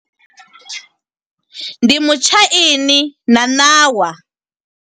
Ndi mutshaini na ṋawa.